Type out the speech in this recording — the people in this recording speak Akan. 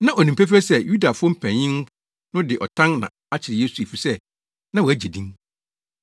Na onim pefee sɛ Yudafo mpanyin no de ɔtan na akyere Yesu efisɛ na wagye din.